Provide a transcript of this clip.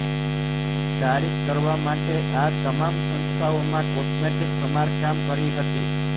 તારીખ કરવા માટે આ તમામ સંસ્થાઓમાં કોસ્મેટિક સમારકામ કરી હતી